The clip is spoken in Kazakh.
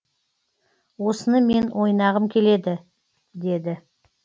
осыны мен ойнағым келеді деді